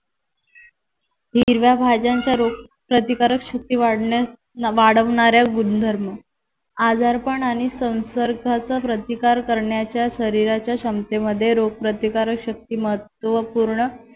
हिरव्या भाज्यांचा रोग प्रतिकारक शक्ती वाढवण्यास वाढवणारा गुणधर्म आजार पण आणि संसर्गाचा प्रतिकार करण्याच्या शरीराच्या क्षमतेमध्ये रोगप्रतिकारक शक्ती महत्वपूर्ण